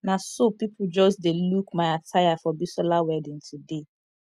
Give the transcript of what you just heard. na so people just dey look my attire for bisola wedding today